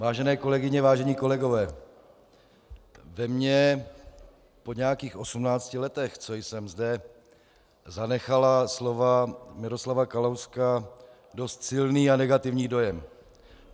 Vážené kolegyně, vážení kolegové, ve mně po nějakých osmnácti letech, co jsem zde, zanechala slova Miroslava Kalouska dost silný a negativní dojem.